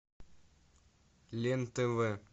лен тв